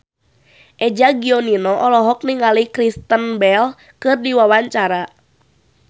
Eza Gionino olohok ningali Kristen Bell keur diwawancara